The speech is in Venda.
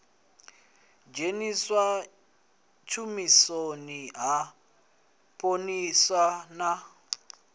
dzheniswa tshumisoni ha phoḽisi na